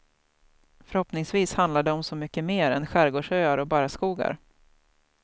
Förhoppningsvis handlar det om så mycket mer än skärgårdsöar och barrskogar.